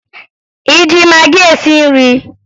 ị ji magị esi nri?